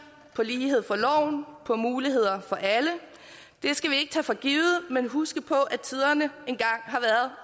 på lighed for loven på muligheder for alle det skal vi ikke tage for givet men huske på at tiderne en